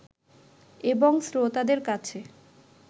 এবং শ্রোতাদের কাছে